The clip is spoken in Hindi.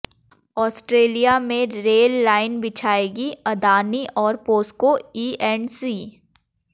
ऑस्ट्रेलिया में रेल लाइन बिछाएंगी अदाणी और पोस्को ईऐंडसी